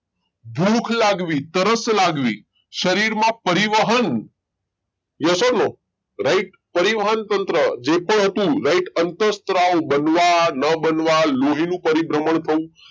ભૂખ લાગવી તરસ લાગવી શરીરમાં પરિવહન yes or no right પરિવહન તંત્ર જે પણ હતું right અંતઃસ્ત્રાવ બનવા ન બનવા લોહીનું પરિભ્રમણ થવું